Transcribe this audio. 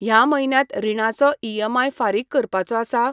ह्या म्हयन्यांत रिणाचो ईएमआय फारीक करपाचो आसा?